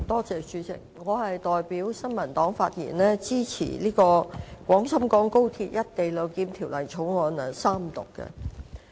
主席，我代表新民黨發言支持《廣深港高鐵條例草案》三讀。